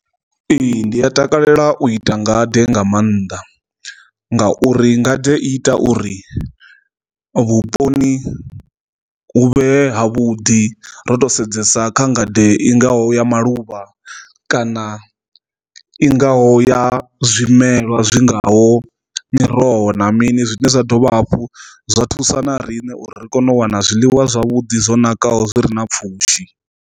Ee, ndi a takalela u ita ngade nga maanḓa ngauri ngade i ita uri vhuponi huvhe ha vhuḓi ro to sedzesa kha ngade i ngaho ya malwadze luvha kana i ngaho ya zwimelwa zwi ngaho miroho na mini zwine zwa dovha hafhu zwa thusa na riṋe uri ri kone u wana zwiḽiwa zwavhuḓi zwo nakaho zwi ri na pfhushi.